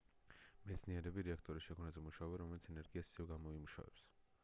მეცნიერები რეაქტორის შექმნაზე მუშაობენ რომელიც ენერგიას ისევე გამოიმუშავებს